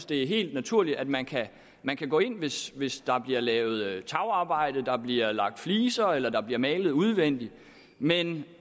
det er helt naturligt at man kan man kan gå ind hvis hvis der bliver lavet tagarbejde eller der bliver lagt fliser eller der bliver malet udvendigt men